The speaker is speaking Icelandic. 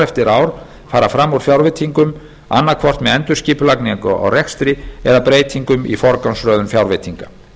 eftir ár fara fram úr fjárveitingum annaðhvort með endurskipulagingu á rekstri eða breytingum í forgangsröðun fjárveitinga